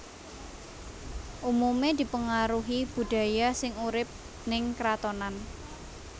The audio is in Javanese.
Umumé dipengaruhi budaya sing urip ning kratonan